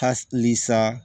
Halisa